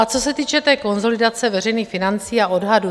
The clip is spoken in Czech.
A co se týče té konsolidace veřejných financí a odhadu.